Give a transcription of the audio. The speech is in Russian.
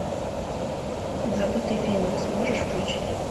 забытый феникс можешь включить